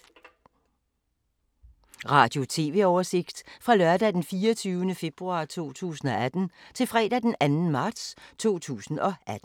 Radio/TV oversigt fra lørdag d. 24. februar 2018 til fredag d. 2. marts 2018